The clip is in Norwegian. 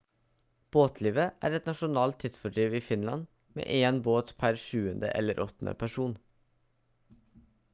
båtlivet er et nasjonalt tidsfordriv i finland med en båt per 7. eller 8. person